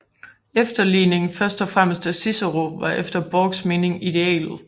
Efterligning først og fremmest af Cicero var efter Borchs mening idealet